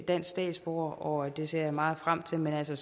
dansk statsborger og det ser jeg meget frem til men altså